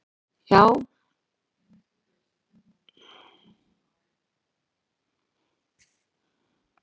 Jú, ég verð að fara svaraði hann og leit á úrið.